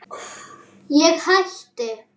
Ég hætti.